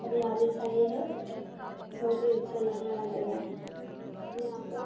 हरियाली छाई है बहुत ही अच्छा लग रहा है जगह यहाँ पे --